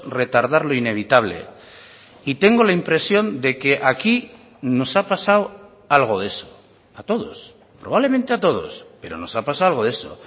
retardar lo inevitable y tengo la impresión de que aquí nos ha pasado algo de eso a todos probablemente a todos pero nos ha pasado algo de eso